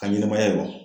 Ka ɲɛnɛmaya yɛlɛma